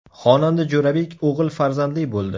Xonanda Jo‘rabek o‘g‘il farzandli bo‘ldi.